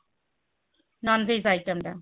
nonveg item ଟା